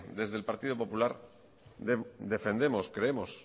desde el partido popular defendemos creemos